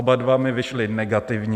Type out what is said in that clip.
Oba dva mi vyšly negativní.